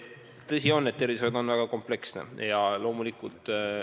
Tõsi on, et tervishoid on väga kompleksne valdkond.